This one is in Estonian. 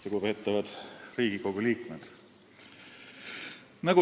Lugupeetavad Riigikogu liikmed!